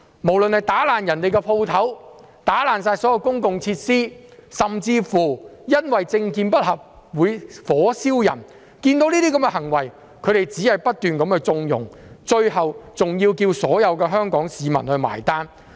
不論是打破店鋪的東西、破壞公共設施，甚至因為政見不合而火燒人等，他們對這些行為也只是不斷縱容，最後還要求所有香港市民買單。